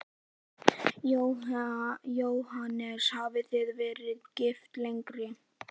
Jóhannes: Hafið þið verið gift lengi?